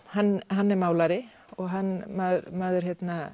hann er málari og maður